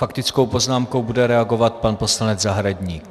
Faktickou poznámkou bude reagovat pan poslanec Zahradník.